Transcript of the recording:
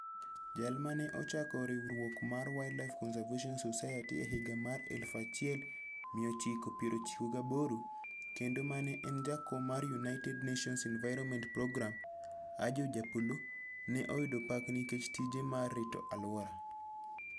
Jal ma ne ochako riwruok mar Wildlife Conservation Society e higa mar 1998 kendo ma ne en jakom mar United Nations Environment Programme, Ajoh Japolo, ne oyudo pak nikech tije mar rito alwora.